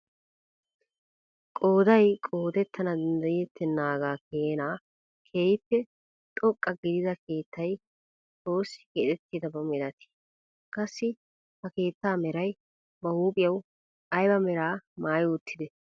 Qooday qodettana danddayettenaagaa keenaa keehi xoqqa gidida keettay oosi keexettidaba milatii? qassi ha keettaa meray ba huuphphiyaawu ayba meraa maayi uttidee?